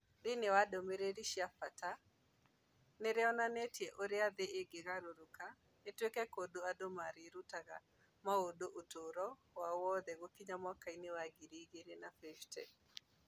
Thĩinĩ wa ndũmĩrĩri cia bata cia, nĩ rĩonanĩtie ũrĩa thĩ ĩngĩgarũrũka ĩtuĩke kũndũ andũ mareruta maũndũ ũtũũro wao wothe gũkinya mwaka wa 2050.